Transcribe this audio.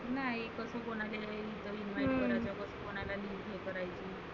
नाही फक्त कोणाकडे कोणाकडे करायचं?